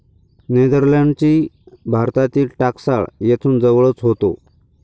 नेदरलँडची भारतातील टाकसाळ येथून जवळच होतो.